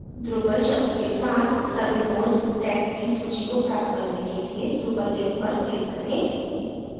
drupal शब्द के साथ सभी nodes tagged की सूची को प्राप्त करने के लिए drupal link पर click करें